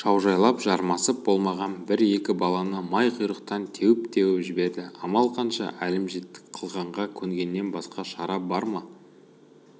шаужайлап жармасып болмаған бір-екі баланы май құйрықтан теуіп-теуіп жіберді амал қанша әлімжеттік қылғанға көнгеннен басқа шара бар ма